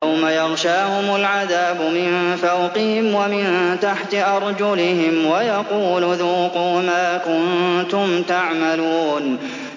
يَوْمَ يَغْشَاهُمُ الْعَذَابُ مِن فَوْقِهِمْ وَمِن تَحْتِ أَرْجُلِهِمْ وَيَقُولُ ذُوقُوا مَا كُنتُمْ تَعْمَلُونَ